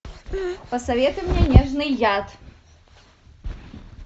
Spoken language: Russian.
посоветуй мне нежный яд